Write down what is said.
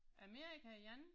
Amerika igen